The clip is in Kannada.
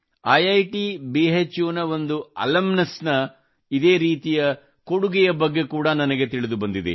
ಐಟ್ ಭೂ ನ ಒಂದು ಅಲುಮ್ನಸ್ ನ ಇದೇ ರೀತಿಯ ದಾನದ ಬಗ್ಗೆ ಕೂಡಾ ನನಗೆ ತಿಳಿದು ಬಂದಿದೆ